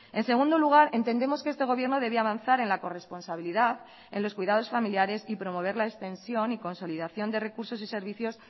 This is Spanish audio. en segundo lugar entendemos que este gobierno debe avanzar en la corresponsabilidad en los cuidados familiares y promover la extensión y consolidación de recursos y servicios